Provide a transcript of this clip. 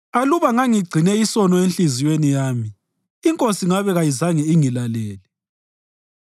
Aluba ngangigcine isono enhliziyweni yami, iNkosi ngabe kayizange ingilalele;